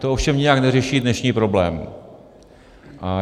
To ovšem nijak neřeší dnešní problém.